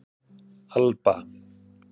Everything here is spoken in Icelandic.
Alba